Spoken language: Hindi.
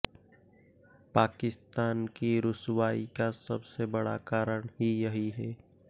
पाकिस्तान की रुसवाई का सबसे बड़ा कारण ही यही है